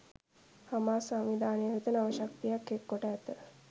Hamas සංවිධානය වෙත නව ශක්තියක් එක්කොට ඇත